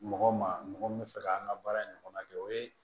Mɔgɔ ma mɔgɔ min fɛ ka an ka baara in ɲɔgɔn na kɛ o ye